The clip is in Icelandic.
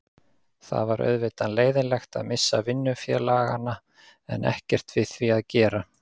Það var auðvitað leiðinlegt, að missa vinnufélagana, en ekkert við því að gera.